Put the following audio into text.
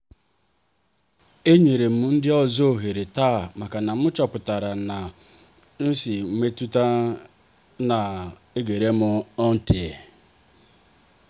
e nyerem ndị ọzọ oghere taa maka na m chọpụtara etu m si nwee metuta na-egerem ntị.